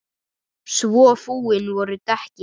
Svo fúin voru dekkin.